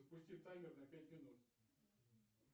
запусти таймер на пять минут